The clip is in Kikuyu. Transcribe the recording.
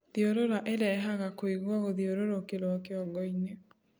Thiurura irehaga kuigua guthiururukirwo kĩongo -ini